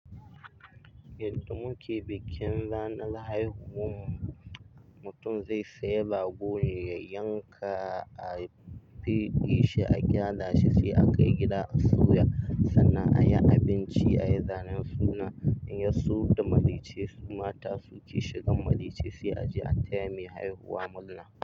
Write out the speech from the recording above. Yadda muke bikin ranar haihuwa, mutum zai sayi rago ne ya yanka, a feɗe shi a gyara shi, sai a kai gida a soya sannan a yi abinci, a yi zanen suna in ya so da maraice su mata su ke shigan maraice sai a je a taya mai haihuwa murna.